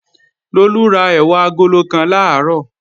Lolú ra ẹ̀wà agolo kan làárọ̀